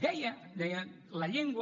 deia deia la llengua